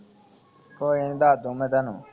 ਕੋਈ ਨਹੀਂ ਦੱਸ ਦਿਓੁ ਮੈਂ ਤੈਨੂੰ